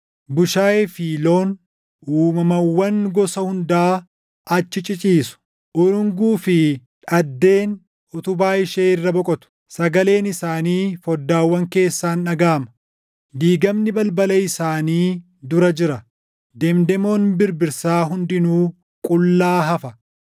Bushaayee fi loon, uumamawwan gosa hundaa achi ciciisu. Urunguu fi dhaddeen utubaa ishee irra boqotu. Sagaleen isaanii foddaawwan keessaan dhagaʼama; diigamni balbala isaanii dura jira; demdemoon birbirsaa hundinuu qullaa hafa.